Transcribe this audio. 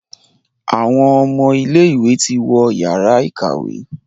Àwon ọmọ ilé ìwé ti wọ Yàrá ìkàwé.